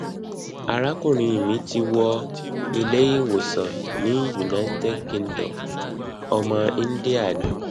arakunrin mi ti wọ ilé ìwòsàn ní united kingdom ọmọ india ni